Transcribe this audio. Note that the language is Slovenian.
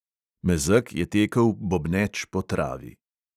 Mezeg je tekel bobneč po travi.